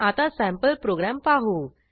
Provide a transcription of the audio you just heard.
आता sample programme पाहू